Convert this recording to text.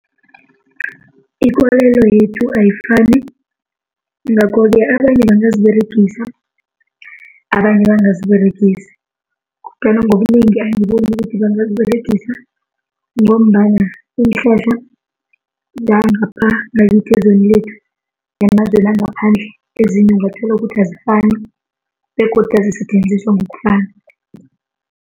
Ikolelo yethu ayifani. Ngakho-ke abanye bangaziberegisa, abanye bangaziberegisi kodwana ngobunengi angiboni ukuthi bangaziberegisa ngombana iinhlahla zangapha ngakithi elizweni lethu nemazweni wangaphandle ezinye ungathola ukuthi azifani begodu azisetjenziswa ngokufana.